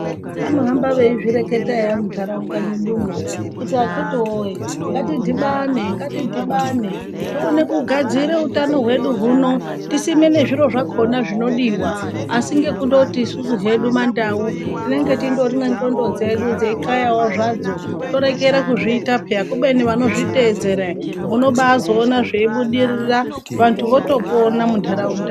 Vanohamba veizvireketa eya muntaraunda mwedumwo kuti akitiwoye ngatidhibane ngatidhibane tione kugadzira utano hwedu huno tisimbe nezviro zvakona zvinodiwa asi nekundoti isusu hedu mandau tinenge tindori nendxondo dzedu dzenxayawo zvadzo torekera kuzviziya peya kubeni vanozviyeedzera ere munobazoona zveibudirira vantu votopona muntaraunda.